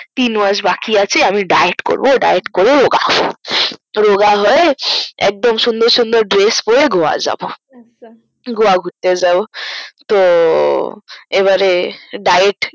তিন মাস বাকি আছে ডাইয়েট করবো ডাইয়েট করবো তো একটু রোগা হয়ে একদম সুন্দর সুন্দর ড্রেস পরে গিয়ে যাবো গোয়া ঘুরতে যাবো তো এবারে ডাইয়েট